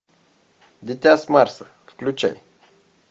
дитя с марса включай